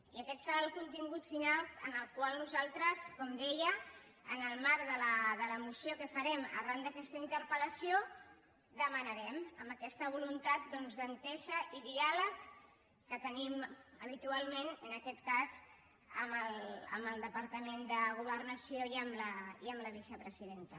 i aquest serà el contingut final que nosaltres com deia en el marc de la moció que farem arran d’aquesta interpel·lació demanarem amb aquesta voluntat doncs d’entesa i diàleg que tenim habitualment en aquest cas amb el departament de governació i amb la vicepresidenta